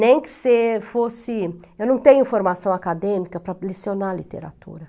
Nem que você fosse... Eu não tenho formação acadêmica para lecionar literatura.